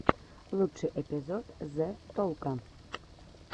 лучший эпизод зе толко